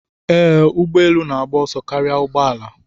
Ee, ụgbọ elu na-agba ọsọ karịa ụgbọ ala.